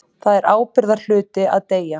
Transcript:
Það er ábyrgðarhluti að deyja.